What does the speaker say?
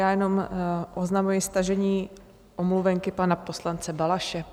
Já jenom oznamuji stažení omluvenky pana poslance Balaše.